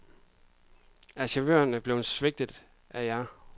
Er chaufførerne blevet svigtet af jer.